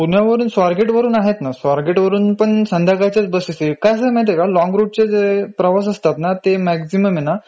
पुण्यावरून swargatevarun आहेत ना, swargatevarun पण संध्याकाळच्याच बसेस आहेत. कसं आहे माहितीये का लॉन्ग route जे प्रवास असतात ना ते मॅक्सिमम हे ना